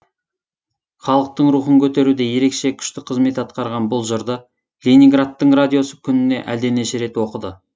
халықтың рухын көтеруде ерекше күшті қызмет атқарған бұл жырды ленинградтың радиосы күніне әлденеше рет оқыды